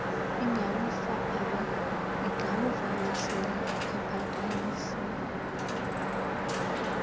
igalufa abesele ephakanyisiwe